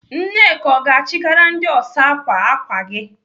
Nneka ọ ga-achịgara ndị ọsa ákwà ákwà gị?